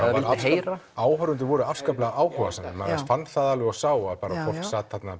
heyra áhorfendur voru afskaplega áhugasamir maður fann það alveg og sá að fólk sat þarna